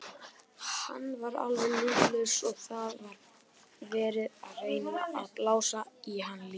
Hann var alveg líflaus og það var verið að reyna að blása í hann lífi.